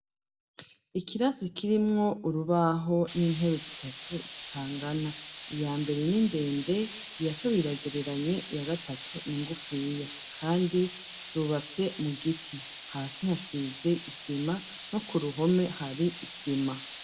Ikirasi kirimwo urubaho, n'intebe zitatu zitangana ,iya mbere n'indende,i ya kabiri iragereranye ,iya gatatu ningufiya kandi zubatse mu giti, hasi hasize isima no ku ruhome hari isima.